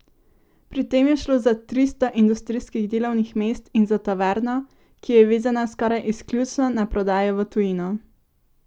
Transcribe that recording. Pri tem je šlo za tristo industrijskih delovnih mest in za tovarno, ki je vezana skoraj izključno na prodajo v tujino!